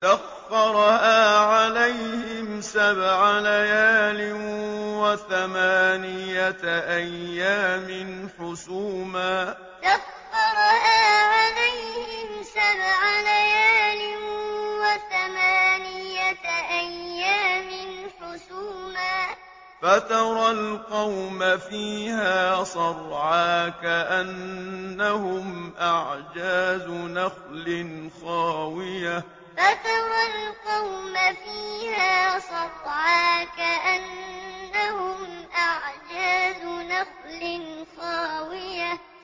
سَخَّرَهَا عَلَيْهِمْ سَبْعَ لَيَالٍ وَثَمَانِيَةَ أَيَّامٍ حُسُومًا فَتَرَى الْقَوْمَ فِيهَا صَرْعَىٰ كَأَنَّهُمْ أَعْجَازُ نَخْلٍ خَاوِيَةٍ سَخَّرَهَا عَلَيْهِمْ سَبْعَ لَيَالٍ وَثَمَانِيَةَ أَيَّامٍ حُسُومًا فَتَرَى الْقَوْمَ فِيهَا صَرْعَىٰ كَأَنَّهُمْ أَعْجَازُ نَخْلٍ خَاوِيَةٍ